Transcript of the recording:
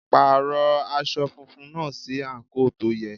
Pàrọ̀ aṣọ funfun náà sí àǹkóò tó yẹ.